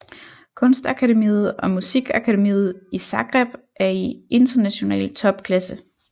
Kunstakademiet og musikakademiet i Zagreb er i international topklasse